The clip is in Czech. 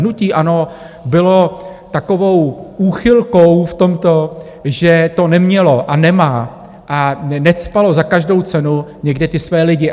Hnutí ANO bylo takovou úchylkou v tomto, že to nemělo a nemá a necpalo za každou cenu někde ty své lidi.